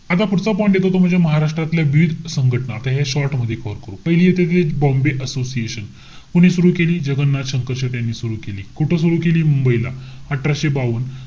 आता पुढचा point येतो तो म्हणजे महाराष्ट्रातल्या विविध संघटना. आता या short मध्ये पाहू. पहिली येते ते बॉम्बे असोसिएशन. कोणी सुरु केली? जगन्नाथ शंकरशेठ यांनी सुरु केली. कुठं सुरु केली? मुंबईला. अठराशे बावन,